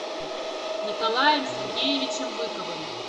николаем сергеевичем быковым